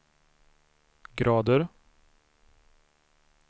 grader